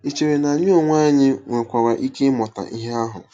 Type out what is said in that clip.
Ì chere na anyị onwe anyị nwekwara ike ịmụta ihe ahụ? -